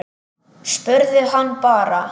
Spurðu hann bara.